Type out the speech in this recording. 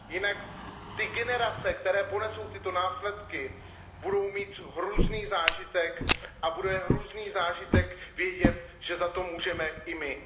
Jinak ty generace, které ponesou následky, budou mít hrůzný zážitek a bude hrůzný zážitek vědět, že za to můžeme i my.